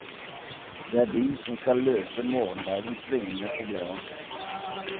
Det er de som skal løse morgendagens svingende problemer.